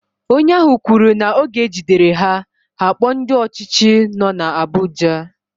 Onye ahu kwuru na oge ejidere ha, ha akpo ndi ochichi no na Abuja.